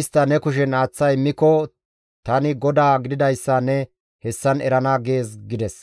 istta ne kushen aaththa immiko tani GODAA gididayssa ne hessan erana› gees» gides.